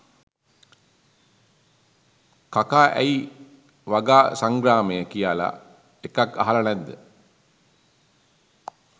කකා ඇයි වගා සංග්‍රාමය කියලා එකක් අහලා නැද්ද?